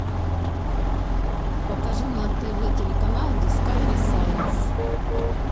покажи на тв телеканал дискавери сайнс